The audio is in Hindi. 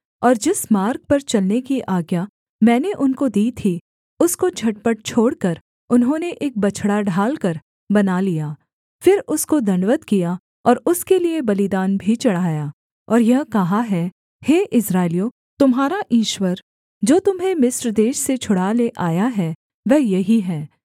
और जिस मार्ग पर चलने की आज्ञा मैंने उनको दी थी उसको झटपट छोड़कर उन्होंने एक बछड़ा ढालकर बना लिया फिर उसको दण्डवत् किया और उसके लिये बलिदान भी चढ़ाया और यह कहा है हे इस्राएलियों तुम्हारा ईश्वर जो तुम्हें मिस्र देश से छुड़ा ले आया है वह यही है